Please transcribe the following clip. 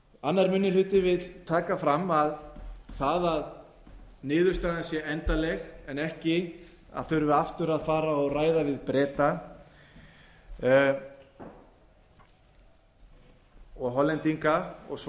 annar minni hluti vill taka fram að það að niðurstaðan sé endanleg en ekki þurfi aftur að fara og ræða við breta og hollendinga og svo